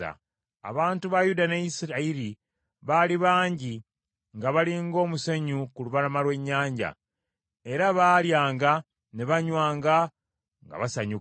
Abantu ba Yuda ne Isirayiri baali bangi nga bali ng’omusenyu ku lubalama lw’ennyanja, era baalyanga, ne banywanga nga basanyuka.